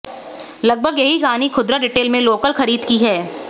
लगभग यही कहानी खुदरा रिटेल में लोकल खरीद की है